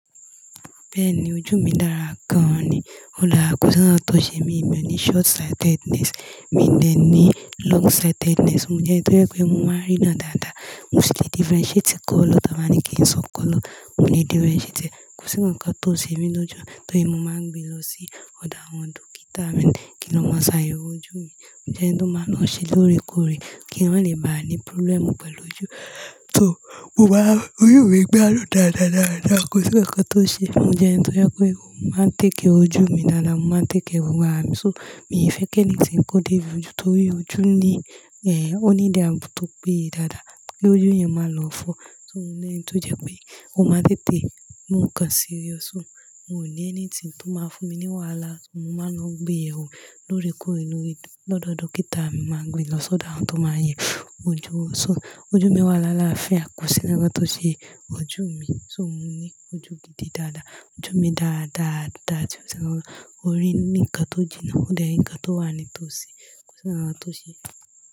Bẹ́ẹ̀ni ojú mi dára gan ni, o dára kò sí nkan tó ṣe mí, emi ò ní short sightedness, mi de ní long sightedness, mo jẹ́ ẹnito yẹ pé mo máa ń rína dáadáa, mo sì lè differentiate colour, tà báa ní kí n sọ colour, mo lè differentiate e. Kò sí nǹkan tó ṣe mi lojú, torí mo máa ń gbe lọ sí ọ̀dà àwọn dókítà mi kí lọ máa ṣàyẹ̀wò ojú mi. Mo jẹ́ ẹnito máa ń lọ ṣe lóòrèkóòrè kí n má lè bá ní problem pẹ̀lú ojú. So mo wà, ojú mi gbadun dáadáa, dáadáa, kò sí nǹkan tó ṣe ẹ. Mo jẹ́ ẹnito yẹ pé mo máa ń take care ojú mi dáadáa, mo máa ń take care gbogbo ààra mi, so mi fẹ́ kí anything kò dé bi ojú torí ojú ní, ẹ, ó need abo tó pé ye dáadáa kí ojú yẹn máa lọ fọ́. So mo jẹ́ ẹni to jẹ́ pé ó máa tètè mú nǹkan serious, so mo ò ní anything to máa fún mi ní wàhálà, mo máa lo ń gbé yewo lóòrèkóòrè lọ́dọ̀ dókítà mi, mo máa gbe lọ sọ̀dọ̀ àwọn tó máa yẹ ojú wo So ojú mi wà lálá fia, kò sí nkankan tó ṣe ojú mi. So mo ní ojú gidi dáadáa, ojú mi dáadáa, dáadáa, ti o sí nǹkan, ó rí ni kan tó jinná, ó dẹ̀ nǹkan tó wà nítòsí, kò sí nǹkan tó ṣe ẹ.